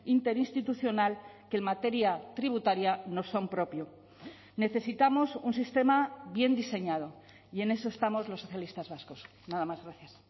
interinstitucional que en materia tributaria no son propio necesitamos un sistema bien diseñado y en eso estamos los socialistas vascos nada más gracias